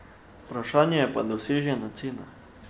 Vprašanje pa je dosežena cena.